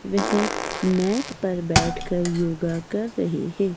वह मैट पर बैठकर योगा कर रही है।